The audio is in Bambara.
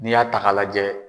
N'i y'a ta ka lajɛ.